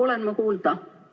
Olen ma kuulda?